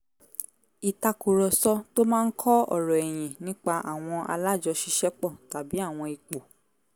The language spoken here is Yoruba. ìtàkùrọ̀sọ tó máa ń kọ́ ọ̀rọ̀ ẹ̀yin nípa àwọn alájọṣiṣẹ́pọ̀ tàbí àwọn ipò